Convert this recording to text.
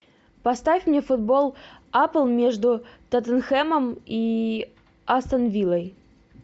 поставь мне футбол апл между тоттенхэмом и астон виллой